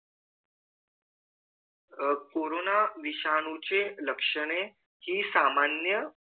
अह कोरोना विषाणू चे लक्षणे हि सामान्य